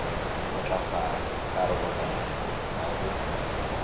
matlafala ka roromela ka be